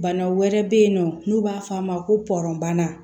Bana wɛrɛ bɛ yen nɔ n'u b'a fɔ a ma ko pɔrɔnbana